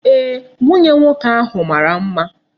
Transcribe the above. Eeh, nwunye nwoke ahu mara mma.